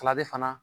fana